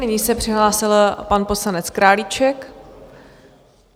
Nyní se přihlásil pan poslanec Králíček.